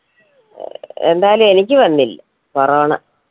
ഏർ എന്തായാലും എനിക്ക് വന്നില്ല corona